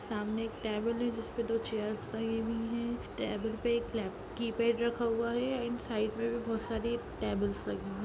सामने एक टेबल है जिस पे दो चेयर्स लगी हुई हैं टेबल पे एक लेप-कीपैड रखा हुआ है एण्ड साइड पे बहुत सारी टेबल्स लगी हैं।